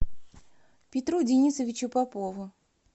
петру денисовичу попову